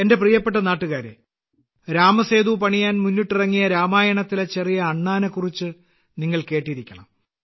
എന്റെ പ്രിയപ്പെട്ട നാട്ടുകാരേ രാമസേതു പണിയാൻ മുന്നിട്ടിറങ്ങിയ രാമായണത്തിലെ ചെറിയ അണ്ണാറാക്കണനെ കുറിച്ച് നിങ്ങൾ കേട്ടിരിക്കണം